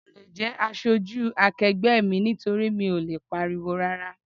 Mi ò le jẹ́ aṣojú akegbe mi nítorí mi ò lè pariwo rárá.